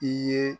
I ye